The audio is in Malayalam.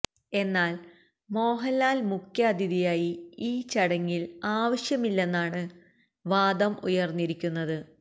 എന്നാല് മോഹന്ലാല് മുഖ്യാതിഥിയായി ഈ ചടങ്ങില് ആവശ്യമില്ലെന്നാണ് വാദം ഉയര്ന്നിരിക്കുന്നത്